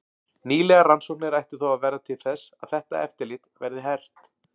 Nýlegar rannsóknir ættu þó að verða til þess að þetta eftirlit verði hert.